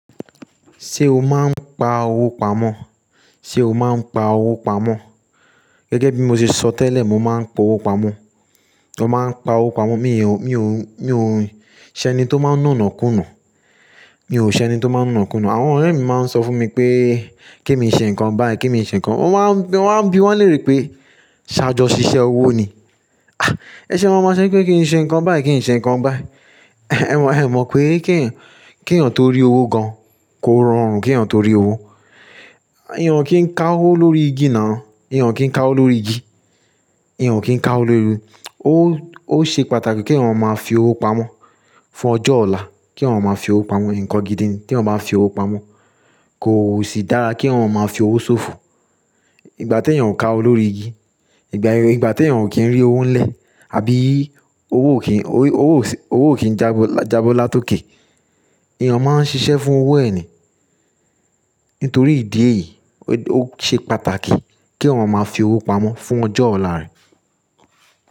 Ṣé o máa ń pa owó pamọ́? Sé o máa ń pa owó pamọ́? Gẹ́gẹ́ bí mo ṣe sọ tẹ́lẹ̀, mo máa ń po owó pamọ́. Mo máa ń pa owó pamọ́. Mi ò, mi ò, mi ò ṣe ẹni tó máa ń nọ̀nà kúnnà. Mi ò ṣe ẹni tó máa ń nọ̀nà kúnnà. Àwọn ọ̀rẹ́ mi máa ń sọ fún mi pé kí n ṣe nǹkan báyìí, kí n ṣe ǹkan. Wọ́n máa ń bí, wọ́n léèrè pé ṣáájú ṣiṣẹ́ owó ni. Ẹṣẹ̀ lọ máa ṣẹ́ pé kí n ṣe ǹkan báyìí, kí n ṣe ǹkan báyìí. Ẹ mọ̀, ẹ mọ̀ pé kí ènìyàn, kí ènìyàn tó rí owó gan kó rọrùn. Kí ènìyàn tó rí owó. Ẹ̀yàn kì í ká owó lórí igi nà. Ẹ̀yàn kì í ká owó lórí igi. Ẹ̀yàn kì í ká owó lórí igi. Ó, ó ṣe pàtàkì kí èwọ̀n máa fi owó pamọ́ fún ọjọ́ ọ̀la. Kí èwọ̀n máa fi owó pamọ́ ǹkan gidi ni. Kí èwọ̀n bá fi owó pamọ́, kò sì dára kí èwọ̀n máa fi owó ṣòfò. Ìgbà tí ènìyàn kà á lórí igi, ìgbà tí ènìyàn kì í rí owó ń lẹ̀ àbí owó kì í, owó ò sí, owó kì í jabo, jabo látòké. Ẹ̀yàn máa ń ṣiṣẹ́ fún owó ẹ̀ ni. Nítorí ìdí èyí, ó ṣe pàtàkì kí èwọ̀n máa fi owó pamọ́ fún ọjọ́ ọ̀la rẹ̀.